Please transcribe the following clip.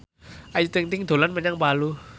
Ayu Ting ting dolan menyang Palu